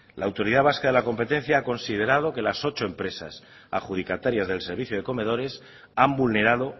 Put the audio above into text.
la autoridad vasca de la competencia ha considerado que las ocho empresas adjudicatarias del servicio de comedores han vulnerado